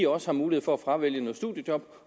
også har mulighed for at fravælge noget studiejob